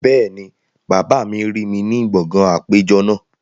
Bẹ́ẹ̀ni, bàbá mi rí mi ní gbọ̀ngàn àpéjọ náà